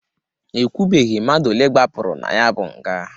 Ekwubeghi mmadụ olee gbapụrụ na ya bụ nga.